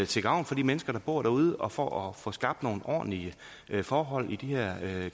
til gavn for de mennesker der bor derude og for at få skabt nogle ordentlige forhold i de her